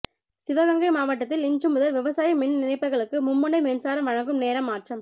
சிவகங்கை மாவட்டத்தில் இன்றுமுதல் விவசாய மின் இணைப்புகளுக்கு மும்முனை மின்சாரம் வழங்கும் நேரம் மாற்றம்